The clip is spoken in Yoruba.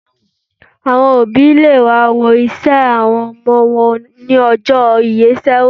Àwọn òbí le wá wo ìṣe àwọn ọmọ wọn ní ọjọ́ ìyeṣẹ́wò.